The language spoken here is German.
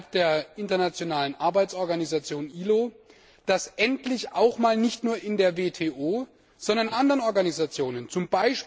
innerhalb der internationalen Arbeitsorganisation ILO dafür getan, dass endlich auch einmal nicht nur in der WTO, sondern auch in anderen Organisationen, z.